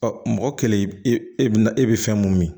Ɔ mɔgɔ kelen e bɛ na e bɛ fɛn mun min